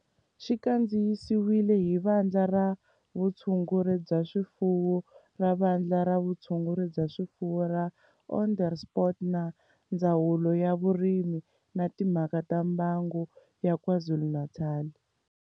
Xi kandziyisiwe hi Vandla ra Vutshunguri bya swifuwo ra Vandla ra Vutshunguri bya swifuwo ra Onderstepoort na Ndzawulo ya Vurimi na Timhaka ta Mbango ya KwaZulu-Natal